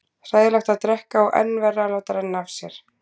Hræðilegt að drekka og enn verra að láta renna af sér.